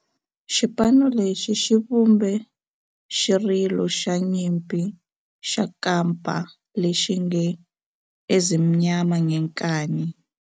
Xipano lexi xi vumbe xirilo xa nyimpi xa kampa lexi nge 'Ezimnyama Ngenkani'.